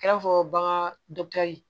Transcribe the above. I n'a fɔ bagan